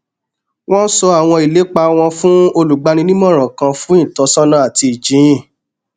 wọn sọ àwọn ìlépa wọn fún olùgbaninímọràn kan fún ìtọsọnà àti ìjíhìn